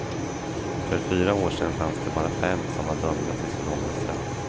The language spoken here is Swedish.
För fyra år sedan fanns det bara fem som var dömda till så långa straff.